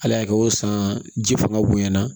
Ala y'a kɛ o san ji fanga bonya na